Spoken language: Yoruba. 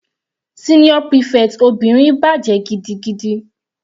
Senior prefect obìnrin bàjẹ́ gidigidi.